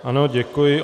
Ano, děkuji.